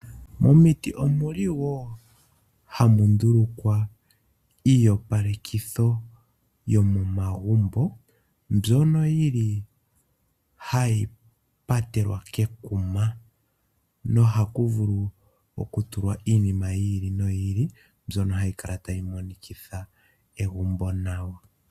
Momiti ohamu ndulukwa iiyopalekitho yomomagumbo, mbyono yi li hayi patelwa kekuma, nokuyo ohaku vulu wo okutulwa iinima yi ili noyi ili mbyono hayi kala tayi monikitha egumbo nawa.